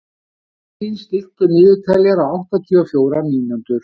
Avelín, stilltu niðurteljara á áttatíu og fjórar mínútur.